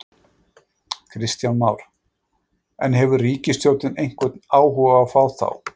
Kristján Már: En, hefur ríkisstjórnin einhvern áhuga á að fá þá?